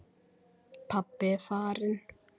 Pabbi er farinn.